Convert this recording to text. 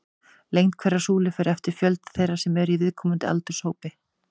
Lengd hverrar súlu fer eftir fjölda þeirra sem eru í viðkomandi aldurshópi.